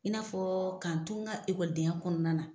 I n'a fɔ ka n to n ka kɔnɔna na.